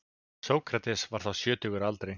Sókrates var þá sjötugur að aldri.